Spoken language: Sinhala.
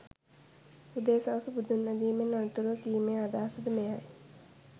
උදේ සවස බුදුන් වැඳීමෙන් අනතුරුව කීමේ අදහස ද මෙයයි